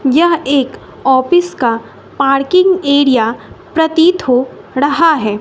यह एक ऑफिस का पाड़किंग एरिया प्रतीत हो ड़हा है।